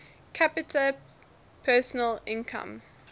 capita personal income